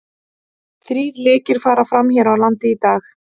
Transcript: Þrír lekir fara fram hér á landi í dag.